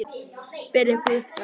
Berið ykkur upp við hann!